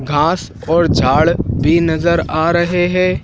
घास और झाड़ भी नज़र आ रहे है।